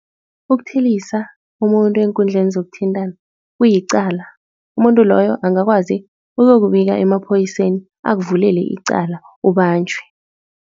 Ukuthelisa umuntu eenkundleni zokuthintana kuyicala, umuntu loyo angakwazi ukuyokubika emaphoyiseni akuvulele icala ubanjwe.